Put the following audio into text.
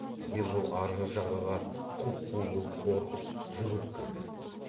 ербол арғы жағаға құп қу боп қорқып жүгіріп келді